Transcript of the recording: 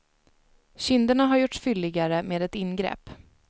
Kinderna har gjorts fylligare med ett ingrepp.